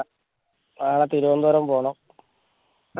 നാളെ തിരുവനന്തപുരം പോണം